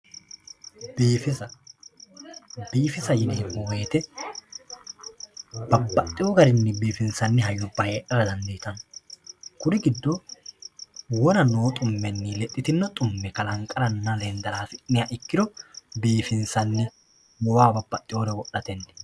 Biifisa biifisa yineemmo wooyite babbaxxeewo garinni biifinsanni hayyubba heedhara dandiitanno kuri giddo wona noo xummenni lexxitino xumme kalanqaranna lendara hasi'niha ikkiro biifinsanni goowaho babbaxxeewore wodhatenni